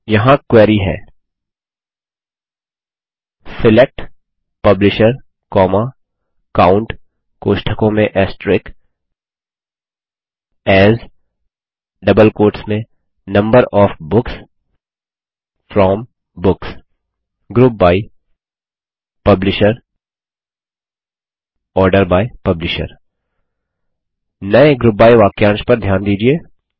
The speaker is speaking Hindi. यहाँ क्वेरी है select publisher COUNT AS number OF books from books group by publisher order by publisher नये ग्रुप बाय वाक्यांश पर ध्यान दीजिये